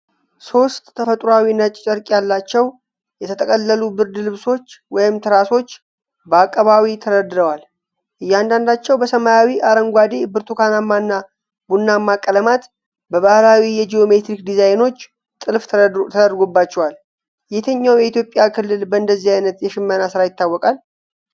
ሶስት ተፈጥሯዊ ነጭ ጨርቅ ያላቸው የተጠቀለሉ ብርድ ልብሶች ወይም ትራሶች በአቀባዊ ተደርድረዋል። እያንዳንዳቸው በሰማያዊ፣ አረንጓዴ፣ ብርቱካናማና ቡናማ ቀለማት በባህላዊ የጂኦሜትሪክ ዲዛይኖች ጥልፍ ተደርጎባቸዋል። የትኛው የኢትዮጵያ ክልል በእንደዚህ ዓይነት የሽመና ሥራ ይታወቃል?